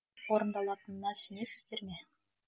орындалатына сенесіздер ме